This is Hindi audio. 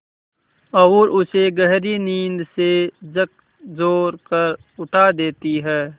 और उसे गहरी नींद से झकझोर कर उठा देती हैं